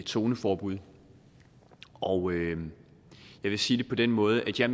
zoneforbud og jeg vil sige det på den måde at jeg